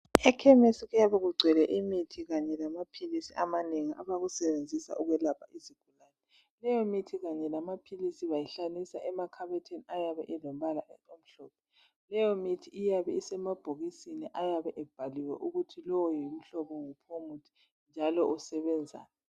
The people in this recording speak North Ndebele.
Ekhemisi kuyabe kugcwele imithi kanye lamaphilisi amanengi abakusebenzisa ukwelapha izigulani, leyo mithi kanye lamaphilisi bayihlalisa emakhabothini ayabe elombala omhlophe leyo mithi iyabe isemabhokisini aaybe ebhaliwe ukuthi lowo ngumhlobo wuphi njalo usebenzani.